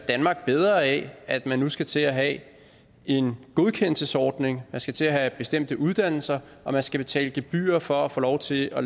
bedre af at man nu skal til at have en godkendelsesordning man skal til at have bestemte uddannelser og man skal betale gebyrer for at få lov til at